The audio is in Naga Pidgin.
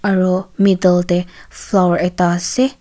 aru middle deh flower ekta ase.